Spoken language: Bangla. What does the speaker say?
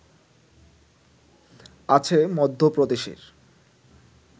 আছে মধ্য প্রদেশের